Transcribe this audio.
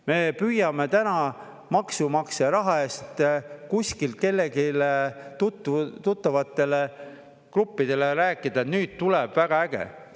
Me püüame täna maksumaksja raha eest kuskil kellelegi tuttavatele gruppidele rääkida, et nüüd tuleb väga äge.